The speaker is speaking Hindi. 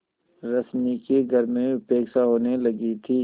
रश्मि की घर में उपेक्षा होने लगी थी